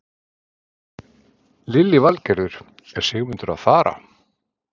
Lillý Valgerður: Er Sigmundur að fara?